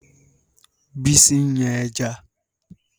Bísí ń yan ẹja.